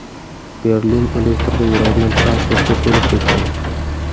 Berlin elektrda yuradigan transportga to‘lib ketgan.